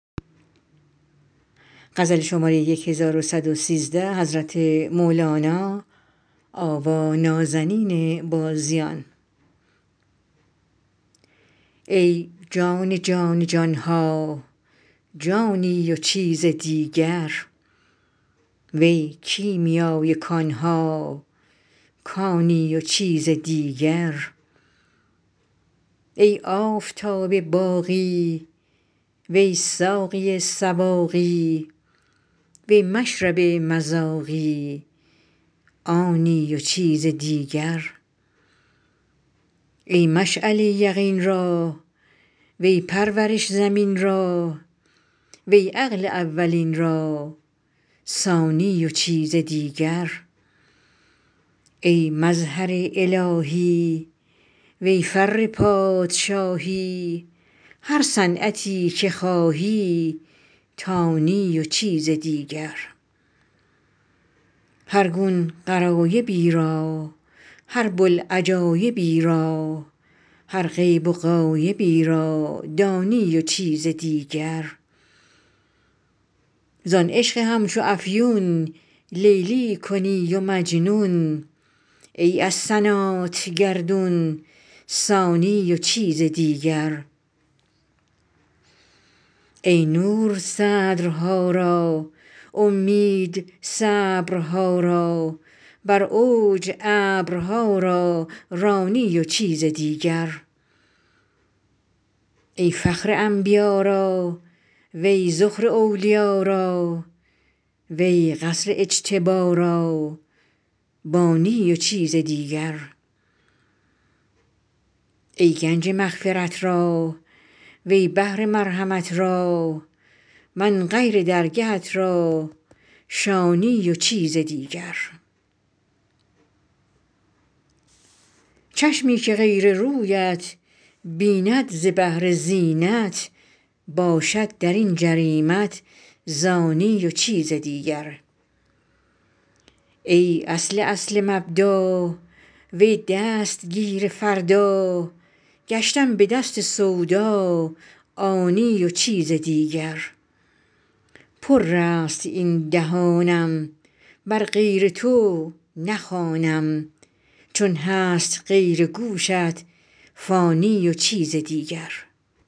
ای جان جان جان ها جانی و چیز دیگر وی کیمیای کان ها کانی و چیز دیگر ای آفتاب باقی وی ساقی سواقی وی مشرب مذاقی آنی و چیز دیگر ای مشعله یقین را وی پرورش زمین را وی عقل اولین را ثانی و چیز دیگر ای مظهر الهی وی فر پادشاهی هر صنعتی که خواهی تانی و چیز دیگر هر گون غرایبی را هر بوالعجایبی را هر غیب و غایبی را دانی و چیز دیگر زان عشق همچو افیون لیلی کنی و مجنون ای از سنات گردون سانی و چیز دیگر ای نور صدرها را اومید صبرها را بر اوج ابرها را رانی و چیز دیگر ای فخر انبیا را وی ذخر اولیا را وی قصر اجتبا را بانی و چیز دیگر ای گنج مغفرت را وی بحر مرحمت را من غیر درگهت را شانی و چیز دیگر چشمی که غیر رویت بیند ز بهر زینت باشد در این جریمت زانی و چیز دیگر ای اصل اصل مبدا وی دستگیر فردا گشتم به دست سودا عانی و چیز دیگر پرست این دهانم بر غیر تو نخوانم چون هست غیر گوشت فانی و چیز دیگر